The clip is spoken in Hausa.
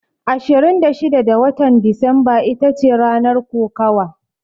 Ashirin da shida da watan Disamba itace ranar kokawa.